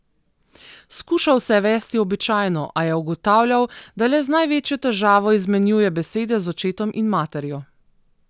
Skušal se je vesti običajno, a je ugotavljal, da le z največjo težavo izmenjuje besede z očetom in materjo.